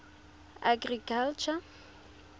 agriculture